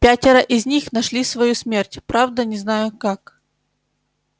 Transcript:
пятеро из них нашли свою смерть правда не знаю как